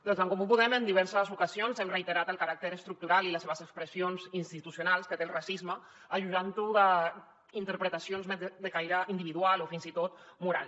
des d’en comú podem en diverses ocasions hem reiterat el caràcter estructural i les seves expressions institucionals que té el racisme ajudant ho d’interpretacions de caire individual o fins i tot moral